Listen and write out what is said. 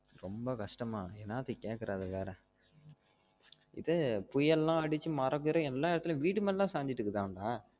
ரொம்ப கஷ்டமா என்னத்திக்கு கேக்குற அதா வேற இதே புயல் லாம் அடிச்சி மரம் கிரம் எல்லா இடத்துலையும் வீடு மேலலாம் சாஞ்சிஜிட்டு இருக்குதாம் டா